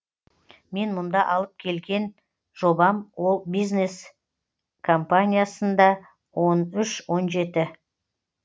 мен мұнда алып келген жобам ол бизнес кампаниясында он үш он жеті